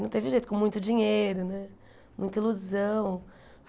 não teve jeito, com muito dinheiro né, muita ilusão.